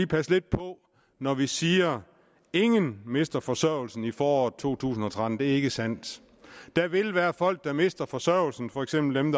passe lidt på når vi siger ingen mister forsørgelsen i foråret to tusind og tretten det er ikke sandt der vil være folk der mister forsørgelsen for eksempel dem